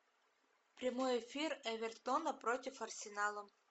прямой эфир эвертона против арсенала